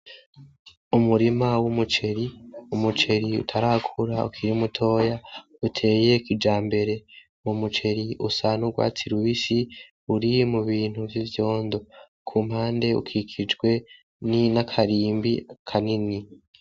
Umurima w'umuceri, umuceri utarakura ukiri mutoya uteye kijambere, uwo muceri usa n'urwatsi rubisi uri mu bintu vy'ivyondo, kumpande ukikijwe n'akarimbi kanini.